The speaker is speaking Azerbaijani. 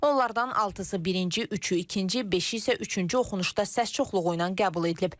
Onlardan altısı birinci, üçü ikinci, beşi isə üçüncü oxunuşda səs çoxluğu ilə qəbul edilib.